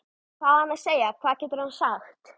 Hvað á hann að segja, hvað getur hann sagt?